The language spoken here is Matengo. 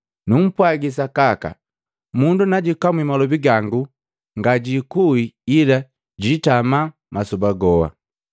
Numpwaji sakaka, “Mundu najukamwi malobi gangu nga giikui ila giitama masoba goha.”